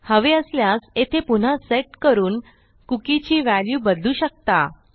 हवे असल्यास येथे पुन्हा सेट करून कुकी ची व्हॅल्यू बदलू शकता